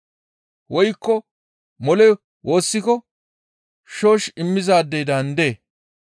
Woykko mole woossiko shoosh immizaadey daandee?